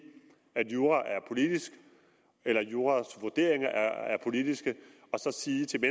at juraen er politisk eller at juraens vurderinger er politiske og så sige til